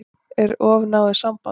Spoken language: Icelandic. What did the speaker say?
Er of náið samband?